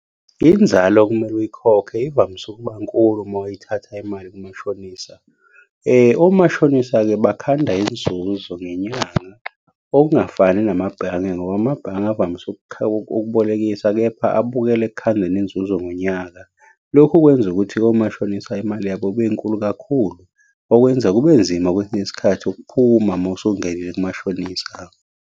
Inzalo okumele uyikhokhe ivamise ukuba nkulu uma uyithatha imali kumashonisa. Omashonisa-ke bakhanda inzuzo ngenyanga, okungafani namabhange ngoba amabhange avamise ukubolekisa, kepha abukela ekukhandeni inzuzo ngonyaka. Lokhu kwenza ukuthi omashonisa imali yabo ibe nkulu kakhulu, okwenza kube nzima kwesinye isikhathi ukuphuma uma usungenile kumashonisa.